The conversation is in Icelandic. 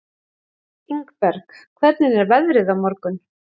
Ingberg, hvernig er veðrið á morgun?